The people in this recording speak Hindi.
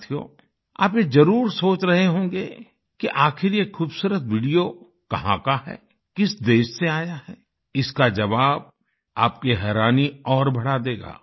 साथियो आप ये जरूर सोच रहे होंगे कि आखिर ये खूबसूरत वीडियो कहाँ का है किस देश से आया है इसका जवाब आपकी हैरानी और बढ़ा देगा